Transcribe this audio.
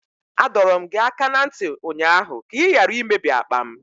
Adọọrọ m gị aka na ntị ụnyaahụ ka ị ghara imebi akpa m!